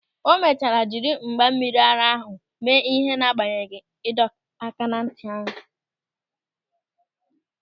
O mechara jiri mgba mmiri ara ahụ mee ịhe n'agbanyeghị ịdọaka n'ntị anyị.